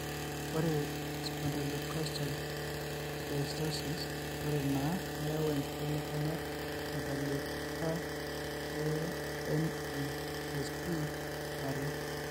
Ore eSpondylocostal dysostosise are naa keyau inkibelekenyat tentalipa eMESPare.